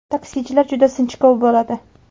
Taksichilar juda sinchkov bo‘ladi.